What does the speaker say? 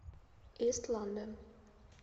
ист лондон